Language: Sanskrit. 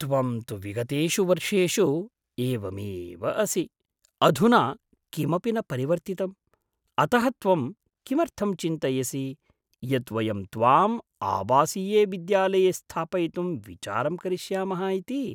त्वं तु विगतेषु वर्षेषु एवमेव असि, अधुना किमपि न परिवर्तितम्, अतः त्वं किमर्थं चिन्तयसि यत् वयं त्वाम् आवासीये विद्यालये स्थापयितुं विचारं करिष्यामः इति?